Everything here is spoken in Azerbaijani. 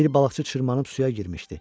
Bir balıqçı çırmanıb suya girmişdi.